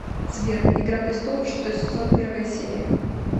сбер игра престолов шестой сезон первая серия